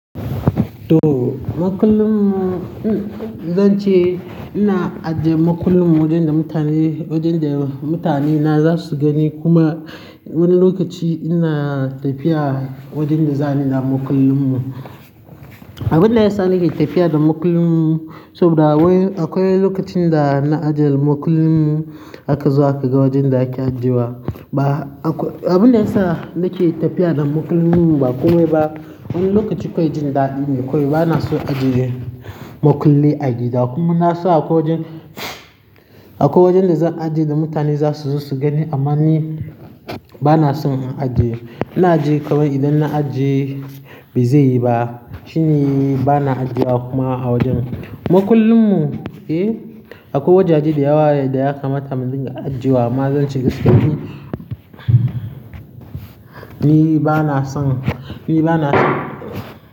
To, makullin mu, zan ce ina ajiye makullin mu wajen da mutane, wajen da mutane na za su gani kuma wani lokaci ina tafiya wajen da za ni da makullin mu. Abin da ya sa nake tafiya da makullin mu saboda akwai, akwai lokacin da na ajiye makullin mu aka zo aka ga wajen da ake ajiyewa. Ba, abin da ya sa nake tafiya da makullin mu ba komai ba, wani lokaci akwai jin daɗi ne kawai. Bana so ajiye makulli agida kuma na so akwai wajen, akwai wajen da zan ajiye da mutane za su zo su gani amma ni bana son in ajiye. Ina ajiye kawai idan na ajiye ba zai yi ba shine bana ajiyewa kuma a wajen makullin mu. Eh, akwai wajaje da yawa da ya kamata mudinga ajiyewa amma zan ce gaskiya ni bana son, ni bana son.